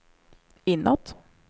inåt